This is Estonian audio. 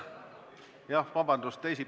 Jah, vabandust!